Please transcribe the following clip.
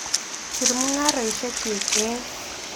Sir mung'arosiekyuk eng'